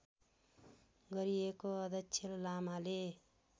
गरिएको अध्यक्ष लामाले